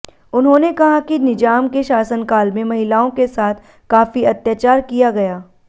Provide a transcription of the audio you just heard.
उन्होने कहा कि निजाम के शासन काल में महिलाओं के साथ काफी अत्याचार किया गया